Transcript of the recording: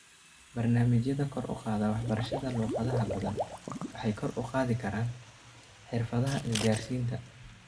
Barnaamijyada kor u qaada waxbarashada luqadaha badan waxay kor u qaadi karaan xirfadaha isgaarsiinta.